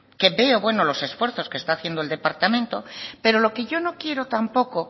que veo bueno los esfuerzos que está haciendo el departamento pero lo que yo no quiero tampoco